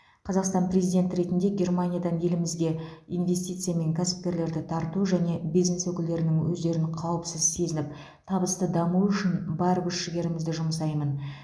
қазақстан президенті ретінде германиядан елімізге инвестиция мен кәсіпкерлерді тарту және бизнес өкілдерінің өздерін қауіпсіз сезініп табысты дамуы үшін бар күш жігерімізді жұмсаймын